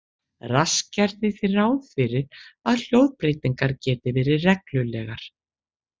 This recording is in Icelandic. Rask gerði því ráð fyrir að hljóðbreytingar geti verið reglulegar.